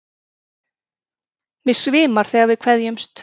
Mig svimar þegar við kveðjumst.